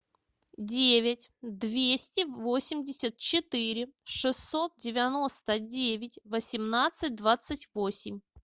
девять двести восемьдесят четыре шестьсот девяносто девять восемнадцать двадцать восемь